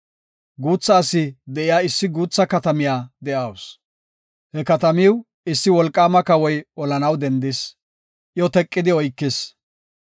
Guutha asi de7iya issi guutha katamiya de7awusu. He katamiw issi wolqaama kawoy olanaw dendis; iyo teqidi oykis.